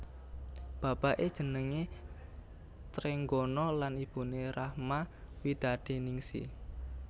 Bapaké jenengé Trenggono lan ibuné Rachma Widadiningsih